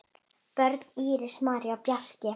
Börn: Íris, María og Bjarki.